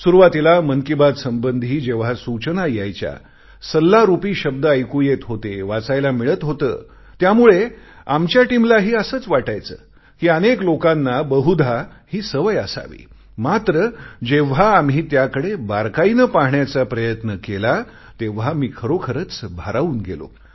सुरुवातीला मन की बात संबंधी जेव्हा सूचना यायच्या सल्लारूपी शब्द ऐकू येत होते वाचायला मिळत होते त्यामुळे आमच्या टीमलाही असेच वाटायचे कि अनेक लोकांना बहुधा ही सवय असावी मात्र जेव्हा आम्ही त्याकडे बारकाईने पाहण्याचा प्रयत्न केला तेव्हा मी खरोखरच भारावून गेलो